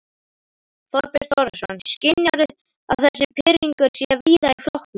Þorbjörn Þórðarson: Skynjarðu að þessi pirringur sé víða í flokknum?